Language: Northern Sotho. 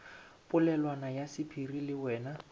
polelwana ya sephiri le wena